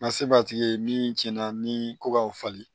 Nka se b'a tigi ye min cɛn na ni ko k'aw falen